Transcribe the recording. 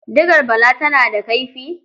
Digar Bala tana da kaifi?